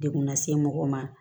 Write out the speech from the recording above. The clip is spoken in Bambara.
Dekun lase mɔgɔ ma